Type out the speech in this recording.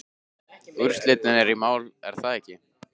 Úrslitin eru í maí er það ekki?